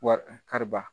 Wari kariba